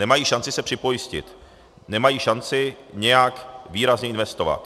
Nemají šanci se připojistit, nemají šanci nějak výrazně investovat.